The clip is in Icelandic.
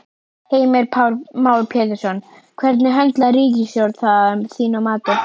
Heimir Már Pétursson: Hvernig höndlar ríkisstjórnin það að þínu mati?